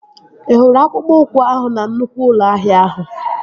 Ị hụrụ akpụkpọ ụkwụ ahụ na nnụkwụ ụlọ ahịa ahụ?